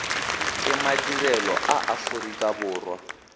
ke madirelo a aforika borwa